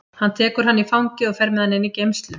Hann tekur hann í fangið og fer með hann inn í geymslu.